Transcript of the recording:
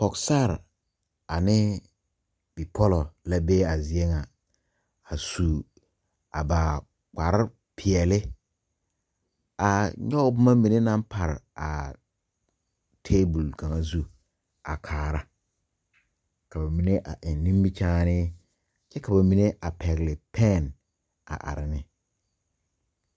Pɔgesare ane bipɔlɔ la be zie ŋa, a su a ba kparre peɛle, a nyɔge boma mine naŋ pare table kaŋa zu, a kaara, ka ba mine eŋ nimmikyᾱᾱne, kyɛ ka ba mine pɛgele pen a are ne.